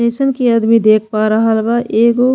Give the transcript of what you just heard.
जइसन की आदमी देख पा रहल बा एगो --